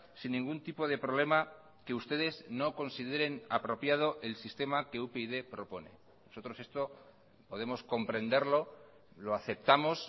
sin ningún tipo de problema que ustedes no consideren apropiado el sistema que upyd propone nosotros esto podemos comprenderlo lo aceptamos